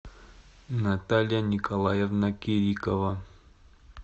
наталья николаевна кирикова